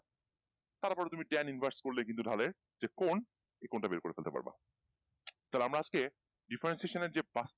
তার ওপর তুমি ten invas করলে কিন্তু ঢালের যে কোন এই কোন টা বের করে ফেলতে পারবা তাহলে আমরা আজকে differentiation যে